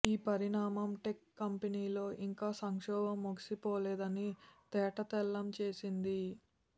ఈ పరిణామం టెక్ కంపెనీలో ఇంకా సంక్షోభం ముగిసిపోలేదని తేటతెల్లం చేసింది